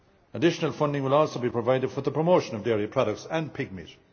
Additional funding will also be provided for the promotion of dairy products and pigmeat.